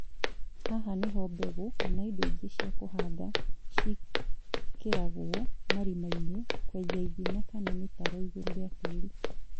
Haha nĩho mbegũ kama indo ingĩ cia kũhanda ciĩkĩragwo marima-inĩ, kwenja ithima kana mĩtaro igũrũ rĩa tĩri